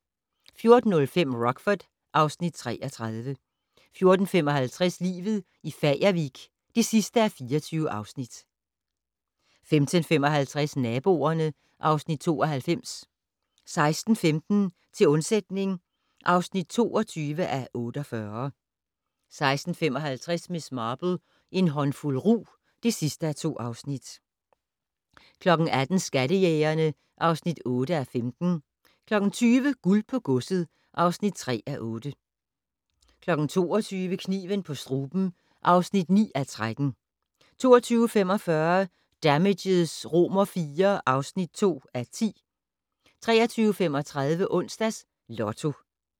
14:05: Rockford (Afs. 33) 14:55: Livet i Fagervik (24:24) 15:55: Naboerne (Afs. 92) 16:15: Til undsætning (22:48) 16:55: Miss Marple: En håndfuld rug (2:2) 18:00: Skattejægerne (8:15) 20:00: Guld på godset (3:8) 22:00: Kniven på struben (9:13) 22:45: Damages IV (2:10) 23:35: Onsdags Lotto